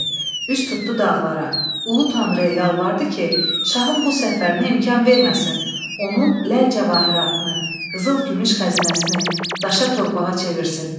Üz tutdu dağlara, Ulu Tanrıya yalvardı ki, şahın bu səfərinə imkan verməsin, onun ləl-cəvahiratını, qızıl-gümüş xəzinəsini daşa torpağa çevirsin.